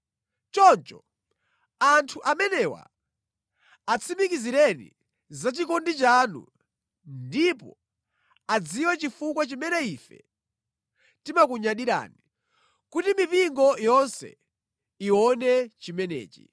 Choncho anthu amenewa atsimikizireni za chikondi chanu ndipo adziwe chifukwa chimene ife timakunyadirani, kuti mipingo yonse iwone chimenechi.